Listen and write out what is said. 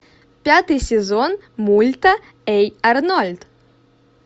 пятый сезон мульта эй арнольд